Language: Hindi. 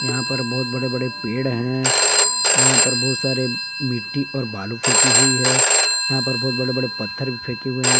यहां पर बहुत बड़े बड़े पेड़ हैं यहां पर बहुत सारे मिट्टी और बालू फेंकी हुई है यहां पर बहुत बड़े बड़े पत्थर भी फेके हुए हैं।